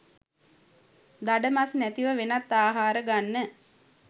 දඩ මස් නැතිව වෙනත් ආහාර ගන්න